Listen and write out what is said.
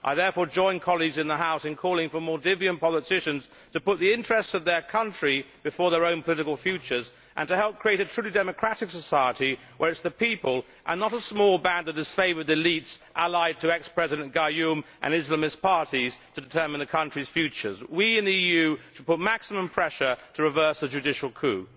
I therefore join colleagues in the House in calling for Maldivian politicians to put the interests of their country before their own political futures and to help create a truly democratic society where it is the people, and not a small band of disfavoured elites allied to ex President Gayoom and the Islamist parties, who determine the country's future. We in the EU should apply maximum pressure to reverse the judicial coup.